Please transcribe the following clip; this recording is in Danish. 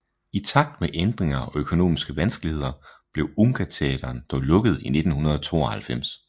I takt med ændringer og økonomiske vanskeligheder blev Unga Teatern dog lukket i 1992